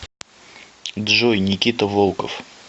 джой никита волков